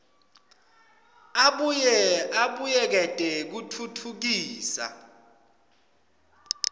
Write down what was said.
abuye abuyekete kutfutfukisa